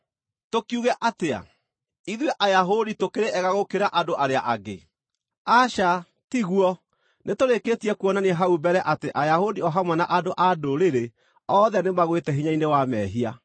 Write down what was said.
Tũkiuge atĩa? Ithuĩ Ayahudi tũkĩrĩ ega gũkĩra andũ arĩa angĩ? Aca, tiguo! Nĩtũrĩkĩtie kuonania hau mbere atĩ Ayahudi o hamwe na andũ-a-Ndũrĩrĩ othe nĩmagwĩte hinya-inĩ wa mehia.